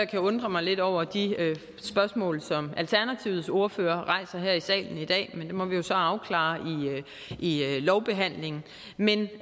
kan undre mig lidt over de spørgsmål som alternativets ordfører rejser her i salen i dag men det må vi jo så afklare i lovbehandlingen men